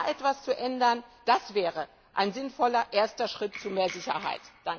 Da etwas zu ändern, das wäre ein sinnvoller erster Schritt zu mehr Sicherheit.